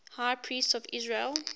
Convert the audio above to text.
high priests of israel